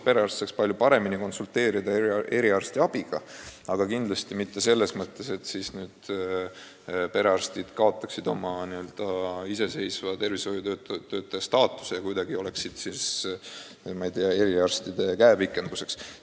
Perearstid peaks saama palju paremini konsulteerida eriarstidega, aga kindlasti mitte selles mõttes, et nad kaotaksid iseseisva tervishoiutöötaja staatuse ja oleksid kuidagi, ma ei tea, eriarstide käepikenduseks.